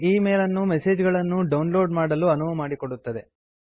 ಈ mail message ಗಳನ್ನು download ಮಾಡಲು ಅನುವು ಮಾಡಿಕೊಡುತ್ತದೆ